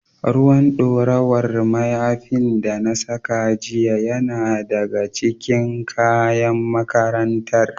Ruwan ɗorawar mayafin da na saka jiya yana daga cikin kayan makarantar.